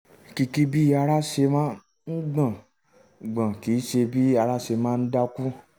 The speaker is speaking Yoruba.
kìkì bí ara um ṣe ń gbọ̀n gbọ̀n kìí ṣe bí ara ṣe máa ń dákú